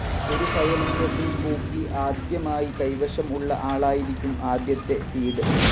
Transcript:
ഒരു ഫയലിൻ്റെ full copy ആദ്യമായി കൈവശം ഉള്ള ആളായിരിക്കും ആദ്യത്തെ സീഡ്.